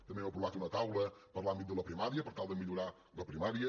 també hem aprovat una taula per a l’àmbit de la primària per tal de millorar la primària